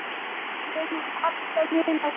Ég mun alltaf muna þetta.